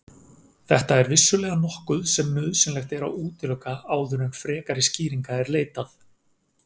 Þetta er vissulega nokkuð sem nauðsynlegt er að útiloka áður en frekari skýringa er leitað.